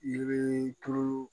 Yiri tulu